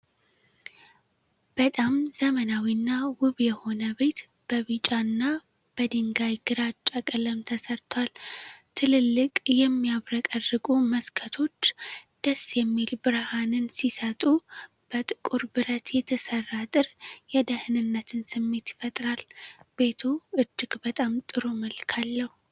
በጣም ዘመናዊና ውብ የሆነ ቤት በቢጫ እና በድንጋይ ግራጫ ቀለም ተሠርቷል። ትልልቅ የሚያብረቀርቁ መስኮቶች ደስ የሚል ብርሃንን ሲሰጡ፣ በጥቁር ብረት የተሠራ አጥር የደህንነትን ስሜት ይፈጥራል። ቤቱ እጅግ በጣም ጥሩ መልክ አለው።